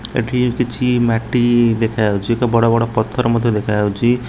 ଏଠି କିଛି ମାଟି ଦେଖାଯାଉଚି ଏକ ବଡ଼ ବଡ଼ ପଥର ମଧ୍ୟ ଦେଖାଯାଉଚି ।